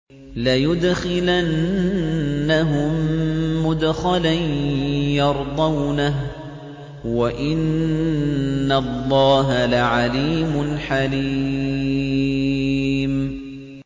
لَيُدْخِلَنَّهُم مُّدْخَلًا يَرْضَوْنَهُ ۗ وَإِنَّ اللَّهَ لَعَلِيمٌ حَلِيمٌ